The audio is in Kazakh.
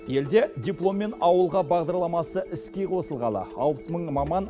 елде дипломмен ауылға бағдарламасы іске қосылғалы алпыс мың маман